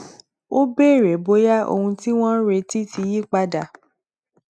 ó béèrè bóyá ohun tí wọn ń retí ti yí padà